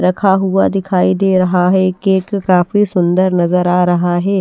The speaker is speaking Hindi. रखा हुआ दिखाई दे रहा है केक काफी सुंदर नजर आ रहा है।